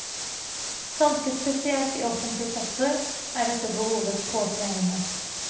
Ganske spesielt i offentlig sektor er dette behovet påtrengende.